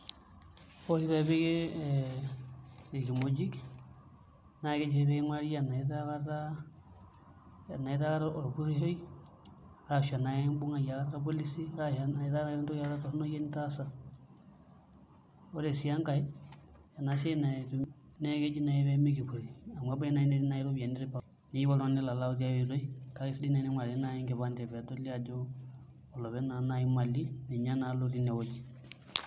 Ore oshi pee epiki ee irkimojik naa keji oshi pee king'urari enaa itaa akata orpurrishoi arashu enaa kakimbung'aki aikata irpolisi arashu enaa keeta akata entoki torrono nitaasa, ore sii enkae ena siai naa keji naai pee mekipurri amu ebaiki naai netii iropiyiani neyieu oltung'ani nelo ayau taia oitoi kake sidai naai tening'urari enkipande pee eedoli ajo olopeny naa naai imali ninye naa lotii inewueji.